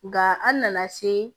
Nga an nana se